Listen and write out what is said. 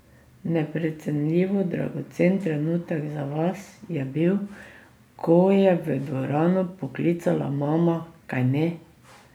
Neprecenljivo dragocen trenutek za vas je bil, ko je v dvorano poklicala mama, kajne?